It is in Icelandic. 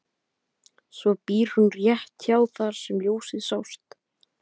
Svo býr hún rétt hjá þar sem ljósið sást.